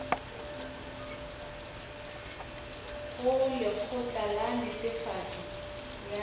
go lekgotla la netefatšo ya